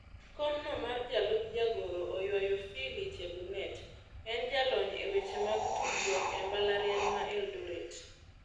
Kom no mar jalup jagoro oywayo Phili Chebunet. En jalony e weche mag tudruok e mbalariany ma Eldoret.